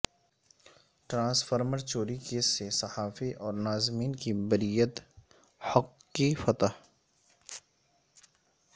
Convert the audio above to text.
transformer چور ی case سےصحافی اور ناظمین کی بر یت حق کی فتح